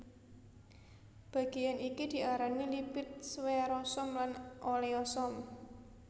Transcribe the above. Bagéyan iki diarani lipid sferosom lan oleosom